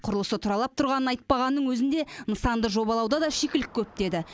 құрылысы тұралап тұрғанын айтпағанның өзінде нысанды жобалауда да шикілік көп деді